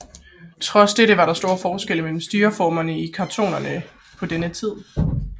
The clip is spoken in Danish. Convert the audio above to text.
Trods dette var der store forskelle mellem styreformerne i kantonerne på denne tid